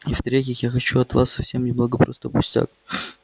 и в-третьих я хочу от вас совсем немного просто пустяк